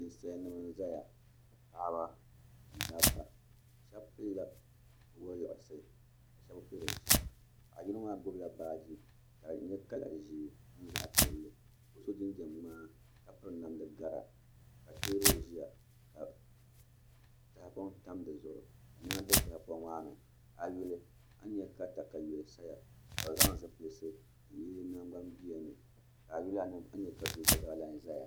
Ninsalinim n zaya. Paɣaba ni dabba. Shebi pilla waluɣsi ka shebi be pili binsheɣu. Paɣ' yino maa gbubila baaji ka di nye Kala ʒee ni zaɣ' pielli ka o so jinjam ŋmaa ka so namda gaɣu ka tiebuli ʒɛya ka tahipoŋ tam di zuɣu ka niema be tahipoŋ maa ni. A yuli a ni nya ka takayua ka di sayaa ka bɛ zang zipilsi n yili di nangban bia ni.